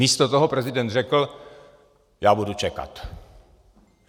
Místo toho prezident řekl - já budu čekat.